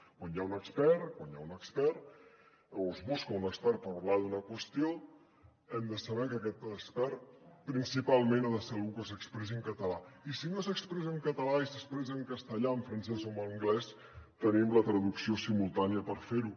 quan hi ha un expert quan hi ha un expert o es busca un expert per parlar d’una qüestió hem de saber que aquest expert principalment ha de ser algú que s’expressi en català i si no s’expressa en català i s’expressa en castellà en francès o en anglès tenim la traducció simultània per fer ho